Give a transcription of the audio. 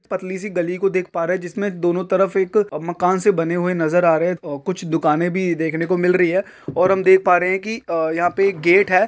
पतली सी गली को देख पा रहे जिसमें दोनों तरफ एक अ मकान से बने हुए नजर आ रहे हैं अ कुछ दुकानें भी देखने को मिल रही है और हम देख पा रहे हैं कि अ यहां पे एक गेट हे--